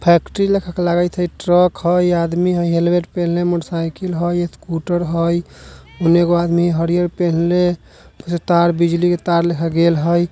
Factory लेखा की लगित हई ट्रक हई आदमी हई हेलमेट पेन्हले मोटर साइकिल हई स्कूटर हई। ओने एगो आदमी हरियर पेन्हले जे तार बिजली के तार लइखा गेल हई।